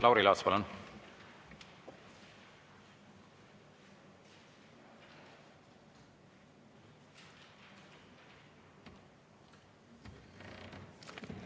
Lauri Laats, palun!